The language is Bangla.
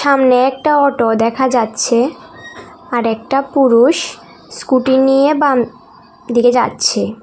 সামনে একটা অটো দেখা যাচ্ছে আর একটা পুরুষ স্কুটি নিয়ে বাম দিকে যাচ্ছে।